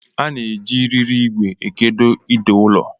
A na-eji riri ìgwè ekedo ide ụlọ.